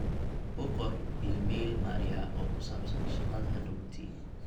u qor iimayl maria oo ku sabsan shaqada hadoowti